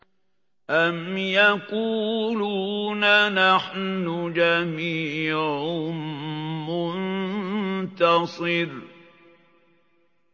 أَمْ يَقُولُونَ نَحْنُ جَمِيعٌ مُّنتَصِرٌ